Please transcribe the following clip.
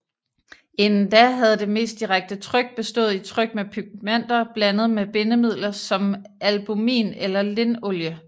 Indtil da havde det mest direkte tryk bestået i tryk med pigmenter blandet med bindemidler som albumin eller linolie